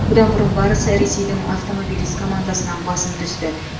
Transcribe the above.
бұдан бұрын барыс ресейдің автомобилист командасынан басым түсті